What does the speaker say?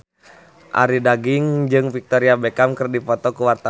Arie Daginks jeung Victoria Beckham keur dipoto ku wartawan